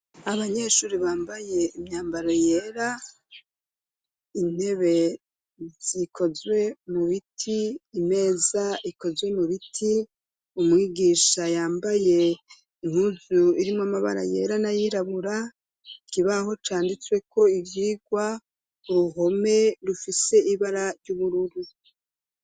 Abanyeshure bambaye imyambaro yera intebe zikozwe mu biti imeza ikozwe mu biti umwigisha yambaye impuzu irimwo amabara yera nayirabura ikibaho canditswe ko ibyigwa uruhome rufise ibara ry'ubururu.